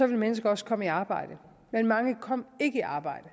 ville mennesker også komme i arbejde men mange kom ikke i arbejde